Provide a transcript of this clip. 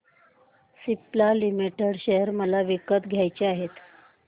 Cipla limited share मला विकत घ्यायचे आहेत